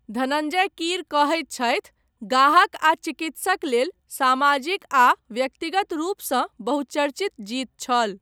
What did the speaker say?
धनञ्जय कीर कहैत छथि, 'गाहक आ चिकित्सक लेल सामाजिक आ व्यक्तिगत रूपसँ बहुचर्चित जीत छल'।